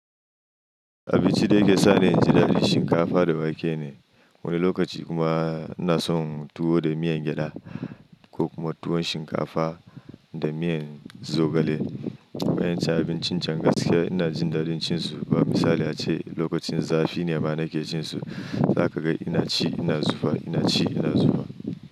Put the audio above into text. Abinci da yake sa ni inji dadi shinkafa da wake ne. Wani lokaci kuma ina so tuwo da miyan gyada ko kuma tuwon shinkafa da miyan zogale. Wa'yanci abincin jan gaskiys ina jin dadin cin su. Ba misali ace lokacin zafi ne ba nake cin su, za ka ga ina ci ina zufa, ina ci ina zufa.